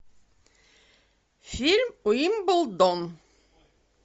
фильм уимблдон